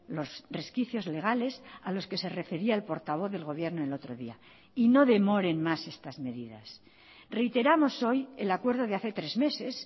los resquicios legales a los que se refería el portavoz del gobierno el otro día y no demoren más estas medidas reiteramos hoy el acuerdo de hace tres meses